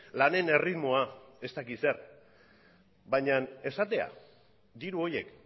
lanen erritmoa ez dakit zer baina esatea diru horiek